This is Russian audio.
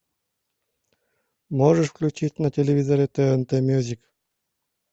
можешь включить на телевизоре тнт мьюзик